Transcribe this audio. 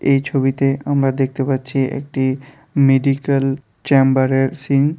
এই ছবিতে আমরা দেখতে পাচ্ছি একটি মেডিকেল চেম্বারের সিন ।